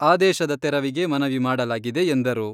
ಆದೇಶದ ತೆರವಿಗೆ ಮನವಿ ಮಾಡಲಾಗಿದೆ ಎಂದರು.